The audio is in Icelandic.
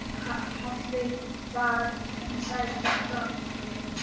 Halli var vinsæll þetta kvöld.